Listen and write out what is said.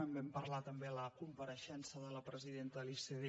en vam parlar també a la compareixença de la presidenta de l’icd